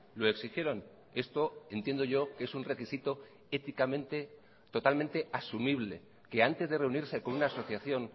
lo exigieron esto entiendo yo que es un requisito éticamente totalmente asumible que antes de reunirse con una asociación